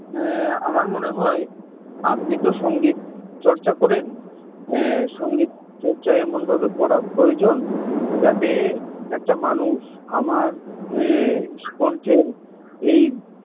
আমার মনে হয় আপনি তো সঙ্গীত চর্চা করেন এ সঙ্গীত চর্চা এমনভাবে করা প্রয়োজন যাতে যাতে একটা মানুষ আমার কণ্ঠের এই